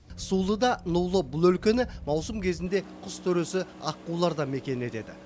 сулы да нулы бұл өлкені маусым кезінде құс төресі аққулар да мекен етеді